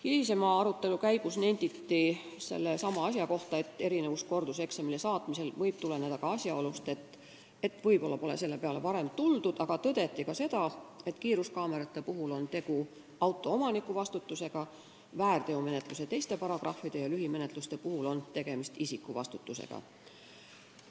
Hilisema arutelu käigus nenditi sellesama asja kohta, et erinevus korduseksamile saatmisel võib tuleneda ka asjaolust, et võib-olla pole selle peale varem tuldud, aga kiiruskaamerate puhul on tegu auto omaniku vastutusega, väärteomenetlust eeldavate teiste paragrahvide ja lühimenetluse puhul on tegemist isiku vastutusega.